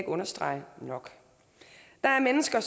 understrege nok der er mennesker